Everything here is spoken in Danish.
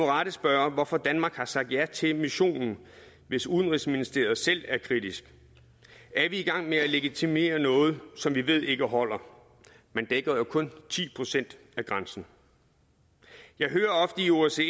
rette spørge hvorfor danmark har sagt ja til missionen hvis udenrigsministeriet selv er kritisk er vi i gang med at legitimere noget som vi ved ikke holder man dækker jo kun ti procent af grænsen jeg hører ofte i osce